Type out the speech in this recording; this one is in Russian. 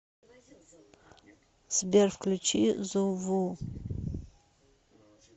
сбер включи зуву